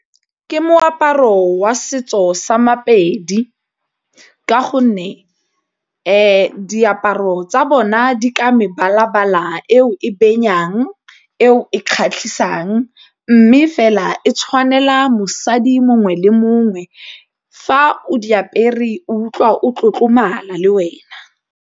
Ke moaparo wa setso sa Mapedi ka gonne e diaparo tsa bona di ka mebala-bala eo e be fenyang, eo e kgatlhisang mme fela e tshwanela mosadi mongwe le mongwe fa o di apere o utlwa o tlotlomala le wena.